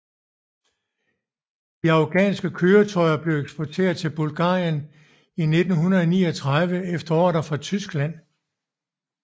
De afghanske køretøjer blev eksporteret til Bulgarien i 1939 efter ordre fra Tyskland